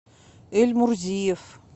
эльмурзиев